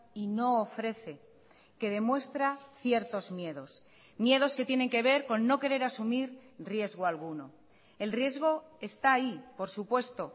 y no ofrece que demuestra ciertos miedos miedos que tienen que ver con no querer asumir riesgo alguno el riesgo está ahí por supuesto